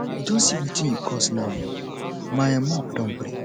you don see wetin you cause now um my um mop don break